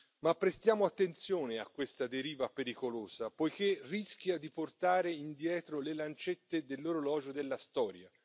Ma prestiamo attenzione a questa deriva pericolosa, poiché rischia di portare indietro le lancette dell'orologio della storia.